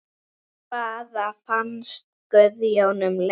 Hvað fannst Guðjóni um leikinn?